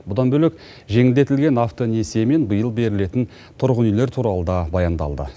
бұдан бөлек жеңілдетілген автонесие мен биыл берілетін тұрғын үйлер туралы да баяндалды